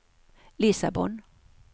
Lissabon